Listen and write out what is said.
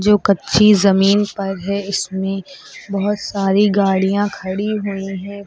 जो कच्ची जमीन पर है इसमें बहुत सारी गाड़ियां खड़ी हुई हैं।